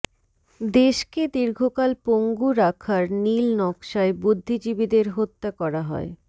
দেশকে দীর্ঘকাল পঙ্গু রাখার নীল নকশায় বুদ্ধিজীবিদের হত্যা করা হয়